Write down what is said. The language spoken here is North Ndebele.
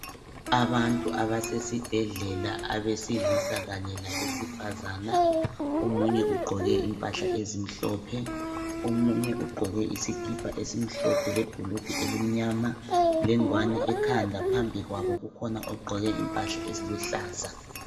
Abantu abasesibhedlela abesilisa Kanye labesifazane. Omunye ugqoke impahla ezimhlophe omunye ugqoke isikipa esimhlophe lebhulugwe elimnyama lengwane ekhanda phambi kwabo kukhona ogqoke impahla eziluhlaza.